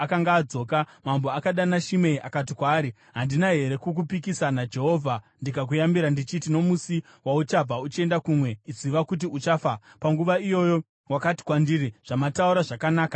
Mambo akadana Shimei akati kwaari, “Handina here kukupikisa naJehovha ndikakuyambira ndichiti, ‘Nomusi wauchabva uchienda kumwe, ziva kuti uchafa.’ Panguva iyoyo wakati kwandiri, ‘Zvamataura zvakanaka. Ndichateerera.’